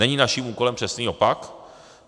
Není naším úkolem přesný opak?